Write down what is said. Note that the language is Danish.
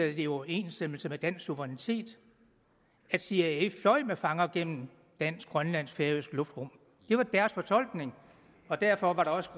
i overensstemmelse med dansk suverænitet at cia fløj med fanger gennem dansk grønlandsk og færøsk luftrum det var deres fortolkning og derfor var der også